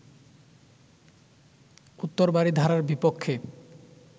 উত্তর বারিধারার বিপক্ষে